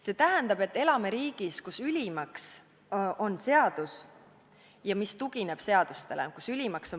See tähendab, et elame riigis, kus ülimaks on põhiseadus ja mis tugineb seadustele.